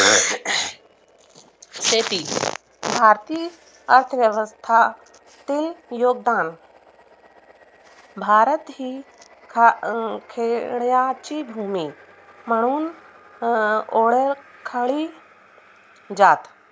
भारतीय अर्थव्यवस्थातील योगदान भारत हा हि खेड्याची भुमी म्हणून ओळखली जाते